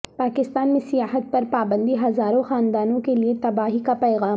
پاکستان میں سیاحت پر پابندی ہزاروں خاندانوں کے لیے تباہی کا پیغام